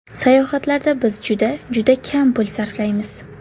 Sayohatlarda biz juda, juda kam pul sarflaymiz.